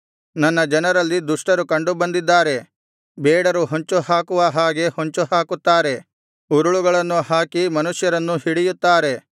ನನ್ನ ಜನರಲ್ಲಿ ದುಷ್ಟರು ಕಂಡು ಬಂದಿದ್ದಾರೆ ಬೇಡರು ಹೊಂಚು ಹಾಕುವ ಹಾಗೆ ಹೊಂಚುಹಾಕುತ್ತಾರೆ ಉರುಳುಗಳನ್ನು ಹಾಕಿ ಮನುಷ್ಯರನ್ನು ಹಿಡಿಯುತ್ತಾರೆ